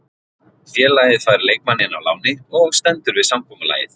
Félagið fær leikmanninn á láni og stendur við samkomulagið.